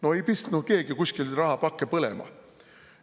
No ei pistnud keegi kuskil rahapakke põlema!